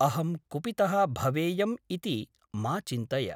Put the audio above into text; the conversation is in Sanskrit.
अहं कुपितः भवेयम् इति मा चिन्तय ।